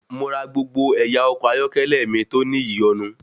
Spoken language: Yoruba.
Mo ra gbogbo ẹ̀yà ọkọ̀ ayọ́kẹ́lẹ́ mi tó ní ìyọ̀nu.